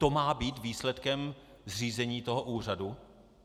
To má být výsledkem zřízení toho úřadu?